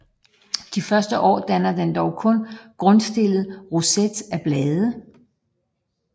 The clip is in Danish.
Det første år danner den dog kun en grundstillet roset af blade